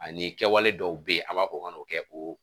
Ani kɛwale dɔw bɛ ye an b'a fɔ o kana o kɛ o